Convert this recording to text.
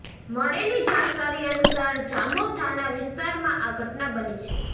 મળેલી જાણકારી અનુસાર જામો થાના વિસ્તારમાં આ ઘટના બની છે